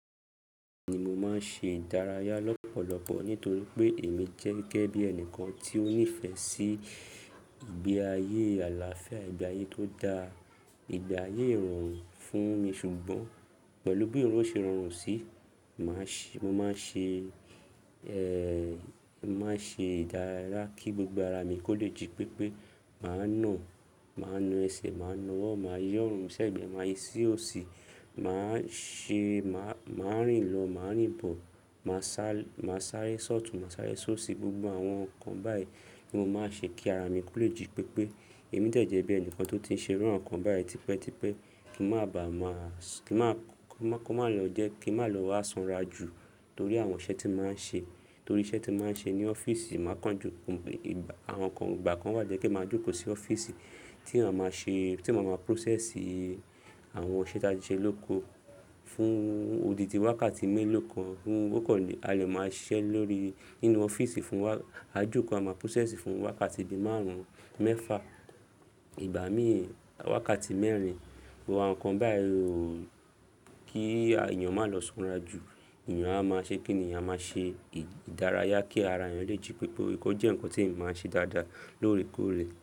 Ni mo máa ń ṣe ìdárayá lọ́pọ̀lọpọ̀ nítorí pé èmi jẹ́ gẹ́gẹ́ bí ẹnìkan tí ó nífẹ̀ẹ́ sí ìgbé ayé àlàáfíà, ìgbé ayé tó dá ìgbé ayé ìrọ̀rùn fún mi. Ṣùgbọ́n pẹ̀lú bí òun ṣe rọrùn sí i, màá ṣe, mo máa ń ṣe, eh, màá ṣe ìdáraya kí gbogbo ara mi kó le jí pépé. Màá na, màá na ẹsẹ̀, màá na ọwọ́, màá yi ọ̀rùn, ṣẹ̀gbẹ́, màá yí ṣí òsì, màá ṣe, màá, màá rìn lọ, màá rìn bọ̀, màá sá, màá sáré sọ́ọ̀tùn, màá sáré sóṣì, gbogbo àwọn nǹkan báyìí ni mo máa ń ṣe kí ara mi kó le jí pépé. Èmi de jẹ́ bí ẹnìkan tó ti ń ṣe irú awon nǹkan báyìí tipẹ́ tipẹ́ kí má bàa máa, kí má, kí ó má lọ jẹ́ kí ó má lọ wá sanra jù torí àwọn iṣẹ́ tí mo máa ń ṣe, torí iṣẹ́ tí mo máa ń ṣe ní ọ́fíìsì, màá kan joko, àwọn nǹkan ìgbà kan wà jẹ́ pe màá jókòó sí ọ́fíìsì tí màá ma ṣe, tí mo máa ma process àwọn iṣẹ́ tí a ti ṣe lóko fún odidi wákàtí mélòó kan fún okòó alẹ́ màá ṣe lórí nínú ọ́fíìsì fún wa-- ajòkòó a máa process fún wákàtí bí márùn-ún, mẹ́fa, ìgbà míì wákàtí mẹ́rin, àwọn nǹkan báyìí ló, kí èèyàn má lọ sanra jù. Èèyàn a má ṣe kí èèyàn má ṣe ìdárayá kí ara èèyàn lè jí pépé kó jẹ́ nǹkan tí ẹ̀ n máa ṣe dáadáa lóòrèkóòrè.